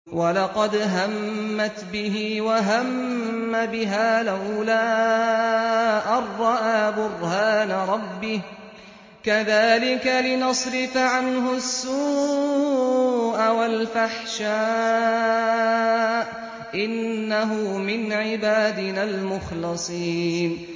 وَلَقَدْ هَمَّتْ بِهِ ۖ وَهَمَّ بِهَا لَوْلَا أَن رَّأَىٰ بُرْهَانَ رَبِّهِ ۚ كَذَٰلِكَ لِنَصْرِفَ عَنْهُ السُّوءَ وَالْفَحْشَاءَ ۚ إِنَّهُ مِنْ عِبَادِنَا الْمُخْلَصِينَ